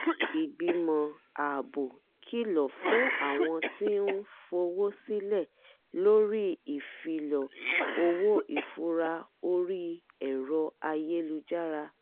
ìgbìmọ̀ ààbò kìlọ̀ fún àwọn tí ń fowó sílẹ̀ lórí ìfilọ owó ìfura orí ẹ̀rọ ayélujára